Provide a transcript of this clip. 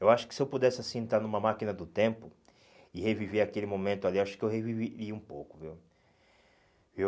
Eu acho que se eu pudesse assim estar numa máquina do tempo e reviver aquele momento ali, eu acho que eu reviveria um pouco, viu? Viu